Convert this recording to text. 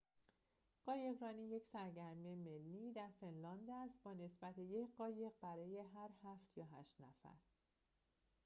قایقرانی یک سرگرمی ملی در فنلاند است با نسبت یک قایق برای هر هفت یا هشت نفر